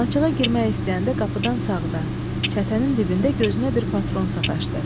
Alaçığa girmək istəyəndə qapıdan sağda, çətənin dibində gözünə bir patron sataşdı.